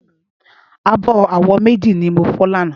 Ábò áwó méji ni mó fò làná